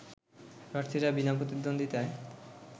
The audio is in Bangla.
প্রার্থীরা বিনা প্রতিদ্বন্দ্বিতায়